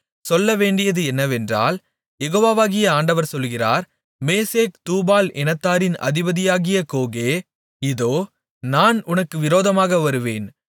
சொல்லவேண்டியது என்னவென்றால் யெகோவாகிய ஆண்டவர் சொல்லுகிறார் மேசேக் தூபால் இனத்தாரின் அதிபதியாகிய கோகே இதோ நான் உனக்கு விரோதமாக வருவேன்